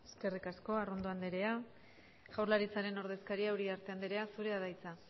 eskerrik asko arrondo andrea jaurlaritzaren ordezkaria uriarte andrea zurea da hitza